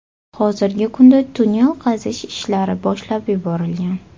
Hozirgi kunda tunnel qazish ishlari boshlab yuborilgan.